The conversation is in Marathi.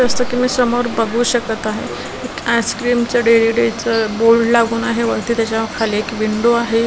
जसं की मी समोर बघू शकत आहे एक आईस्क्रीमचं डेली डेज चं बोर्ड लागून आहे वरती त्याच्या खाली एक विंडो आहे.